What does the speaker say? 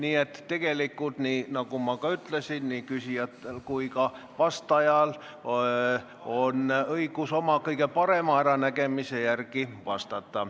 Aga tegelikult, nagu ma juba ütlesin, nii küsijatel kui ka vastajal on õigus rääkida oma kõige parema äranägemise järgi.